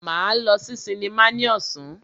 Máa lọ sí sinimá ní ọ̀sán.